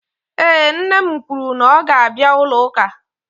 Ee, nne m kwuru na ọ ga-abịa ụlọ ụka